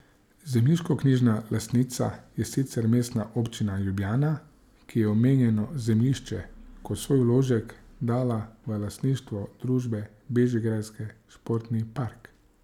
Zemljiškoknjižna lastnica je sicer Mestna občina Ljubljana, ki je omenjeno zemljišče kot svoj vložek dala v lastništvo družbe Bežigrajski športni park.